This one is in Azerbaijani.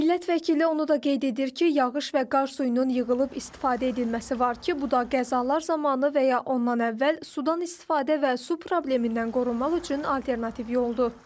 Millət vəkili onu da qeyd edir ki, yağış və qar suyunun yığılıb istifadə edilməsi var ki, bu da qəzalar zamanı və ya ondan əvvəl sudan istifadə və su problemindən qorunmaq üçün alternativ yoldur.